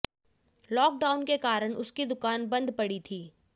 lock down के कारण उसकी दुकान बंद पड़ी थी